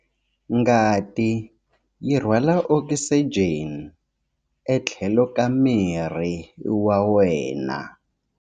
Ngati yi rhwala okisijeni etlhelo ka miri wa wena.